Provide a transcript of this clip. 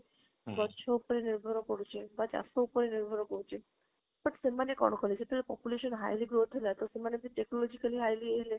ଗଛ ଉପରେ ନିର୍ଭର ପଡୁଛି ବା ଚାଷ ଉପରେ ନିର୍ଭର ପଡୁଛି but ସେମାନେ କରିବେ ଯେବେ population highly growth ହେଲା ତ ସେମାନେବି technologically highly ହେଲେ